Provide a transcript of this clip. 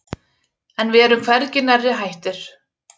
En við erum hvergi nærri hættir.